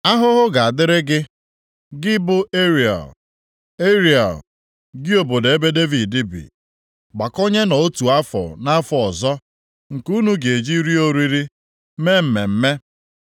Ahụhụ ga-adịrị gị, gị bụ Ariel, Ariel, + 29:1 Nke a bụ aha ọzọ e ji mara Jerusalem. gị obodo ebe Devid bi. Gbakọnyenụ otu afọ nʼafọ ọzọ nke unu ga-eji rie oriri, mee mmemme.